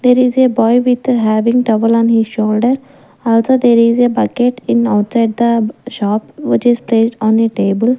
there is a boy with having towel on his shoulder also there is a bucket in outside the shop which is placed on a table.